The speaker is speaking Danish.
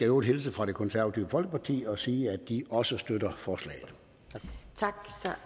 øvrigt hilse fra det konservative folkeparti og sige at de også støtter forslaget tak